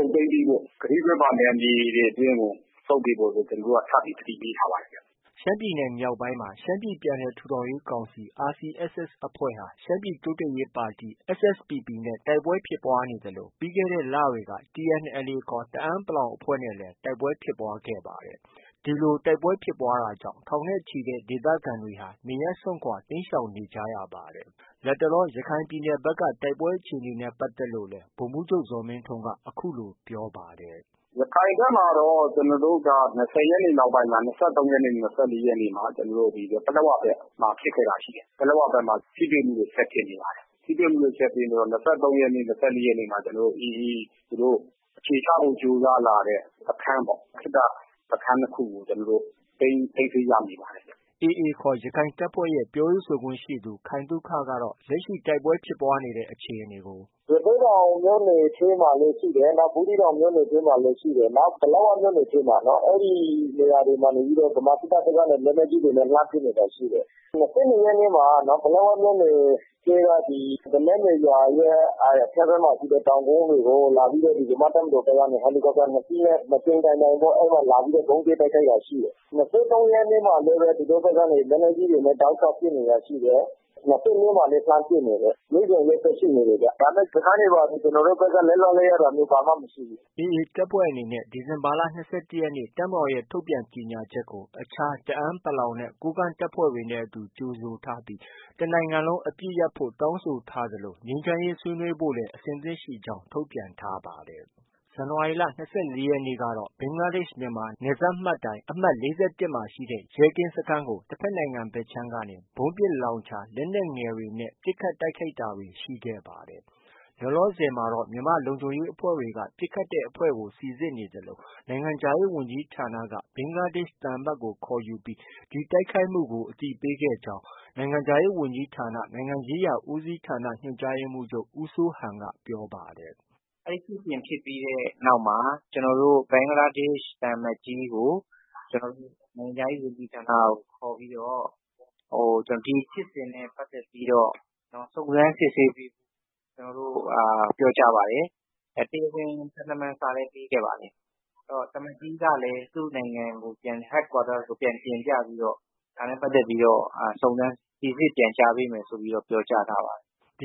မ်းပေးဖို့၊ ကတိကဝတ်ပါ နယ်မြေတွေအတွင်းကို ဆုတ်ပေးဖို့ ဆိုပြီး ကျနော်တို့က ထပ်သတိပေးထားပါတယ်ခင်ဗျ။” ရှမ်းပြည်နယ် မြောက်ပိုင်းမှာ ရှမ်းပြည်ပြန်လည်ထူထောင်ရေးကောင်စီ RCSS အဖွဲ့ဟာ ရှမ်းပြည်တိုးတက်ရေး ပါတီ SSPP နဲ့ တိုက်ပွဲဖြစ်ပွားနေသလို ပြီးခဲ့တဲ့ လတွေက TNLA ခေါ် တအန်း အဖွဲ့နဲ့လည်း တိုက်ပွဲ ဖြစ်ပွားခဲ့တာပါ။ ဒီလို တိုက်ပွဲတွေကြောင့် ထောင်နဲ့ချီတဲ့ ဒေသခံတွေ နေရပ်စွန့်ခွာ တိမ်းရှောင်နေကြရပါတယ်။ လတ်တလော ရခိုင်ဘက်က တိုက်ပွဲအခြေအနေနဲ့ပတ်သက်လို့လည်း ဗိုလ်မှူးချုပ် ဇော်မင်းထွန်း က အခုလို ပြောပါတယ်။ “ရခိုင်ဘက်မှာတော့ ၂၀ ရက်နေ့နောက်ပိုင်း ၂၃ ရက်နေ့၊ ၂၄ ရက်နေ့မှာ ပလက်ဝ ဘက်မှာ ဖြစ်ခဲ့တာတွေ ရှိတယ်။ ပလက်ဝဘက်မှာ ထိတွေ့မှုတွေ ဆက်ဖြစ်နေပါတယ်။ ထိတွေ့မှုတွေ ဆက်ဖြစ်နေတော့ ၂၃ ရက်နေ့ ၊ ၂၄ ရက်နေ့မှာ AA ပေါ့-သူတို့ အခြေချဖို့ ကြိုးစားလာတဲ့စခန်းပေါ့။ ခေတ္တစခန်း ၂ ခုကို သိမ်းဆည်းရမိပါတယ်။” AA ခေါ် ရခိုင်တပ်ဖွဲ့ရဲ့ ပြောရေးဆိုခွင့်ရှိသူ ခိုင်သုခကတော့ လက်ရှိ တိုက်ပွဲဖြစ်ပွားနေတဲ့ အခြေအနေကို အခုလို ပြောပါတယ်။ “ရသေ့တောင်မြို့နယ်ထဲမှာလည်း ရှိတယ်။ ဘူးသီးတောင်မြို့နယ်ထဲမှာလည်း ရှိတယ်။ ပလက်ဝမြို့နယ်ထဲမှာ ဗမာစစ်တပ်ဘက်က လက်နက်ကြီးတွေနဲ့ လှမ်းပစ်နေတာတွေ ရှိတယ်။ ၂၂ ရက်နေ့မှာ ပလက်ဝမြို့နယ်ထဲက ဒလက်မေရွာရဲ့ အထက်ဘက်မှာရှိတဲ့ တောင်ကုန်းတွေကို မြန်မာ့တပ်မတော်ဘက်ကနေ ဟယ်လီကော်ပတာ ၂ စီးနဲ့ ၂ ကြိမ် တိုင်တိုင် ဗုံးကြဲတိုက်ခိုက်တာရှိတယ်။ ၂၃ ရက်မှာလည်း လက်နက်ကြီးတွေနဲ့ တောက်လျှောက်ပစ် နေတာရှိတယ်။ ၂၄ မှာလည်း လှမ်းပစ်နေတယ်။ နေ့စဉ်ရက်ဆက် ဖြစ်နေတယ်ဗျ။ ဒါပေမဲ့ စခန်းတွေ ဘာတွေ ကျနော်တို့ဘက်က လက်လွှတ်လိုက်တာမျိုး ဘာမှမရှိဘူး။ ” AA တပ်ဖွဲ့အနေနဲ့ ဒီဇင်ဘာ ၂၁ ရက်နေ့ တပ်မတော်ရဲ့ ထုတ်ပြန်ချက်ကို အခြား တအန်း နဲ့ ကိုးကန့် တပ်ဖွဲ့ တွေနဲ့ အတူ ကြိုဆိုထားပြီး တနိုင်ငံလုံး အပစ်ရပ်ဖို့ တောင်း ဆိုထားသလို ငြိမ်းချမ်းရေးဆွေးနွေးဖို့လည်း အဆင်သင့်ရှိကြောင်း ထုတ်ပြန်ထားပါတယ်။ ဇန်နဝါရီလ ၂၄ ရက်နေ့ကတော့ ဘင်္ဂလားဒေ့ရှ်- မြန်မာ နယ်စပ်မှတ်တိုင် အမှတ် ၄၁ မှာ ရှိတဲ့ ရဲကင်းစခန်းကို တဖက်နိုင်ငံဘက်ခြမ်းကနေ ဗုံးပစ်လောင်ချာ၊ လက်နက် ငယ်တွေ နဲ့ ပစ်ခတ်တိုက်ခိုက်ခဲ့တာတွေ ရှိခဲ့ပါတယ်။ လောလောဆယ်မှာတော့ မြန်မာလုံခြုံရေး အဖွဲ့တွေက ပစ်ခတ်တဲ့အဖွဲ့ကို စိစစ်နေသလို မြန်မာနိုင်ငံခြားရေး ဝန်ကြီးဌာနက ဘင်္ဂလားဒေ့ရှ်သံအမတ်ကို ခေါ်ယူပြီး ဒီတိုက်ခိုက်မှုကို အသိပေးခဲ့ကြောင်း နိုင်ငံခြားရေး ဝန်ကြီးဌာန နိုင်ငံရေးရာ ဦးစီးဌာန ညွှန်ကြားရေးမှူးချုပ် ဦးစိုးဟန်က ပြောပါတယ်။ “အဲဒီဖြစ်စဉ်ဖြစ်ပြီးတဲ့နောက်မှာ ကျနော်တို့ ဘင်္ဂလားဒေ့ရှ် သံအမတ်ကြီးကို နိုင်ငံခြားရေး ဝန်ကြီးဌာနကို ခေါ်ပြီးတော့ ဒီဖြစ်စဉ်နဲ့ပတ်သက်ပြီးတော့ စုံစမ်းစစ်ဆေးပေးဖို့ ကျနော်တို့ ပြောကြားပါတယ်။ တရားဝင် သံတမန်စာလည်း ပေးခဲ့ပါတယ်။ သံအမတ်ကြီးကလည်း သူ့နိုင်ငံကို Head Quarter ကို ပြန်တင်ပြပြီးတော့ ဒါနဲ့ပတ်သက်ပြီးတော့ ပြန်ကြားပေး မယ်လို့ပြောထားပါတယ်။” ၂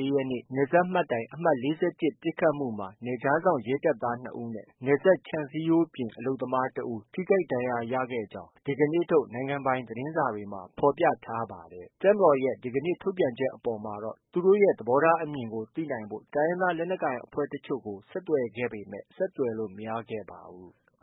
၄ ရက်နေ့ နယ်စပ်မှတ်တိုင် အမှတ် ၄၁ ပစ်ခတ်မှုမှာ နယ်ခြားစောင့် ရဲတပ်သား ၂ ဦးနဲ့ နယ်စပ်ခြံစည်းရိုးပြင် အလုပ်သမားတဦး ထိခိုက်ဒဏ်ရာရခဲ့တဲ့အကြောင်း ဒီကနေ့ထုတ် နိုင်ငံပိုင်သတင်းစာတွေမှာ ဖော်ပြထားပါ တယ်။ တပ်မတော်ရဲ့ ဒီကနေ့ထုတ်ပြန်ချက် အပေါ် သူတို့ ရဲ့သဘောထားအမြင်ကို သိနိုင်ဖို့တိုင်းရင်းသား လက်နက်ကိုင် အဖွဲ့တချို့ကို ဆက်သွယ်ခဲ့ပေမဲ့ ဆက်သွယ်လို့ မရခဲ့ပါဘူး။